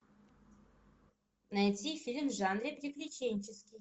найти фильм в жанре приключенческий